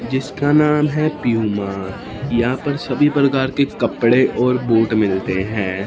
जिसका नाम है प्यूमा यहां पर सभी प्रकार के कपड़े और बोट मिलते है।